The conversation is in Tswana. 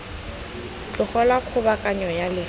tlogelwa kgobokanyo ya le fa